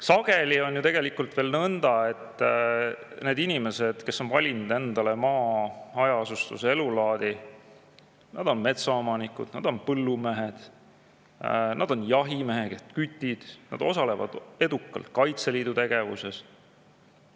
Sageli on ju tegelikult veel nõnda, et need inimesed, kes on valinud endale maakoha hajaasustuse elulaadi, on metsaomanikud, nad on põllumehed, nad on jahimehed, kütid, nad osalevad edukalt Kaitseliidu tegevuses.